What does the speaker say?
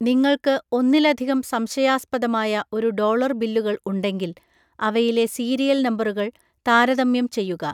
നിങ്ങൾക്ക് ഒന്നിലധികം സംശയാസ്പദമായ ഒരുഡോളർ ബില്ലുകൾ ഉണ്ടെങ്കിൽ, അവയിലെ സീരിയൽ നമ്പറുകൾ താരതമ്യം ചെയ്യുക.